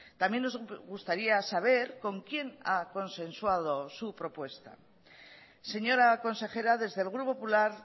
también nos gustaría saber con quién ha consensuado su propuesta señora consejera desde el grupo popular